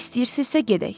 İstəyirsizsə gedək.